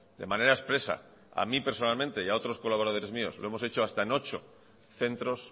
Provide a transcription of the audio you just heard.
de manera expresa a mí personalmente y a otros colaboradores míos lo hemos hecho hasta en ocho centros